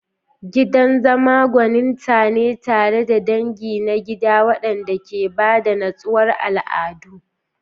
Gidan zama gwaninta ne tare da dangi na gida wanda ke ba da nutsewar al'adu.